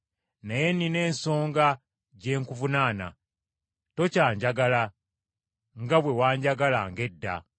Naye nnina ensonga gye nkuvunaana: tokyanjagala nga bwe wanjagalanga edda.